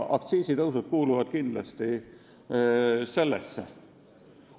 Aktsiisitõusud kuuluvad kindlasti sellesse gruppi.